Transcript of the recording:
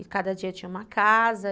E cada dia tinha uma casa.